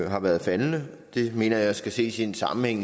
har været faldende det mener jeg skal ses i sammenhæng